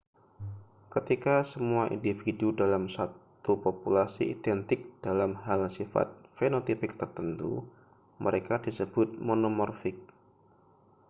ketika semua individu dalam suatu populasi identik dalam hal sifat fenotipik tertentu mereka disebut monomorfik